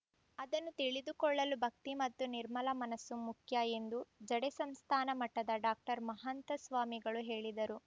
ಅದನ್ನು ತಿಳಿದುಕೊಳ್ಳಲು ಭಕ್ತಿ ಮತ್ತು ನಿರ್ಮಲ ಮನಸ್ಸು ಮುಖ್ಯ ಎಂದು ಜಡೆ ಸಂಸ್ಥಾನ ಮಠದ ಡಾಕ್ಟರ್ ಮಹಂತ ಸ್ವಾಮಿಗಳು ಹೇಳಿದರು